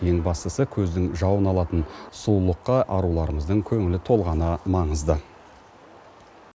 ең бастысы көздің жауын алатын сұлулыққа аруларымыздың көңілі толғаны маңызды